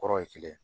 Kɔrɔ ye kelen